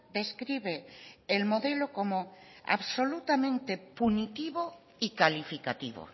describe el modelo como absolutamente punitivo y calificativo